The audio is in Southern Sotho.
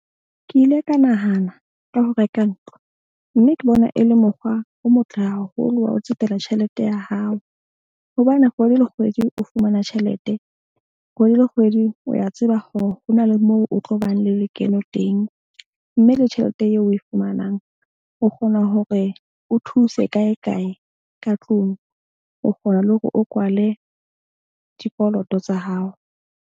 Ke ile ka nahana ka ho reka ntlo mme ke bona e le mokgwa o motle haholo wa ho tsetela tjhelete ya hao. Hobane kgwedi le kgwedi o fumana tjhelete. Kgwedi le kgwedi o ya tseba hore ho na le moo o tlo bang le lekeno teng. Mme le tjhelete eo o e fumanang o kgona hore o thuse kae kae ka tlung. O kgona le hore o kwale dikoloto tsa hao.